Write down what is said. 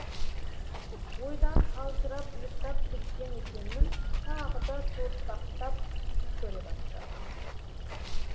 ойдан қалжырап ұйықтап кеткен екенмін тағы да суыртпақтап түс көре бастадым